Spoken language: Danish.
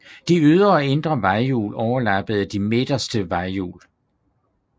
De ydre og indre vejhjul overlappede de midterste vejhjul